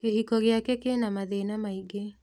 Kĩhiko gĩake kĩna mathĩna maingĩ